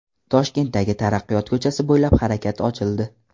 Toshkentdagi Taraqqiyot ko‘chasi bo‘ylab harakat ochildi.